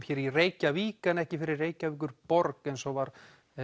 í Reykjavík en ekki fyrir Reykjavíkurborg eins og var